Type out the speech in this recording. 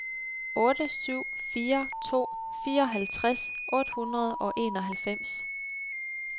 otte syv fire to fireoghalvtreds otte hundrede og enoghalvfems